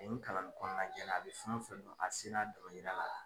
A ye n kalan ni kɔnɔnajɛlenya ye a bɛ fɛn wo fɛn dɔn a bi se n'a ye dɔnkilida la.